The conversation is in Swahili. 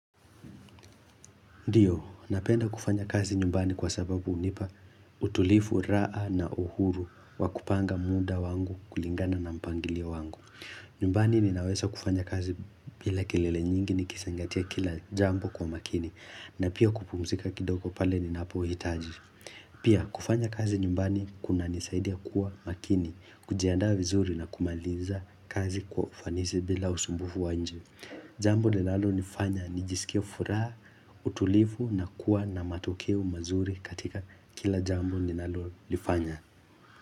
Ndiyo, napenda kufanya kazi nyumbani kwa sababu hunipa utulifu raa na uhuru wa kupanga muda wangu kulingana na mpangilio wangu. Nyumbani ninawesa kufanya kazi bila kelele nyingi ni kisingatia kila jambo kwa makini na pia kupumzika kidogo pale ninapo hitaji. Pia, kufanya kazi nyumbani kuna nisaidia kuwa makini, kujianda vizuri na kumaliza kazi kwa ufanisi bila usumbufu wa inje. Jambu linalo nifanya nijisikie furaha, utulivu na kuwa na matokeo mazuri katika kila jambo ninalo nifanya.